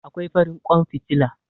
Akwai farin ƙwan fitila.